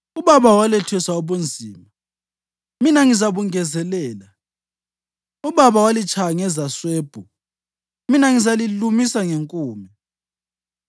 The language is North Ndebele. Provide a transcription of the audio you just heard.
Ubaba walethesa ubunzima, mina ngizabungezelela. Ubaba walitshaya ngezaswebhu, mina ngizalilumisa ngenkume.’ ”